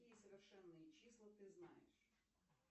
какие совершенные числа ты знаешь